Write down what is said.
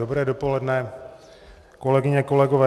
Dobré dopoledne, kolegyně, kolegové.